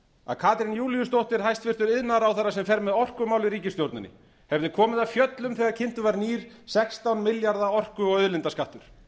að katrín júlíusdóttur hæstvirtur iðnaðarráðherra sem fer með orkumál í ríkisstjórninni hefði komið af fjöllum þegar kynntur var nýr sextán milljarða orku og auðlindaskattur